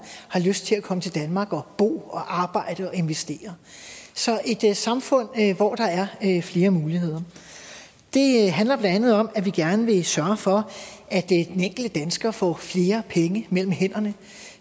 har lyst til at komme til danmark og bo og arbejde og investere så et samfund hvor der er flere muligheder det handler blandt andet om at vi gerne vil sørge for at får flere penge mellem hænderne